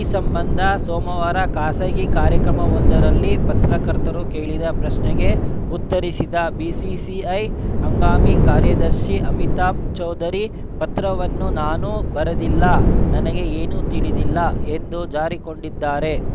ಈ ಸಂಬಂಧ ಸೋಮವಾರ ಖಾಸಗಿ ಕಾರ್ಯಕ್ರಮವೊಂದರಲ್ಲಿ ಪತ್ರಕರ್ತರು ಕೇಳಿದ ಪ್ರಶ್ನೆಗೆ ಉತ್ತರಿಸಿದ ಬಿಸಿಸಿಐ ಹಂಗಾಮಿ ಕಾರ್ಯದರ್ಶಿ ಅಮಿತಾಭ್‌ ಚೌಧರಿ ಪತ್ರವನ್ನು ನಾನು ಬರೆದಿಲ್ಲ ನನಗೆ ಏನೂ ತಿಳಿದಿಲ್ಲ ಎಂದು ಜಾರಿಕೊಂಡಿದ್ದಾರೆ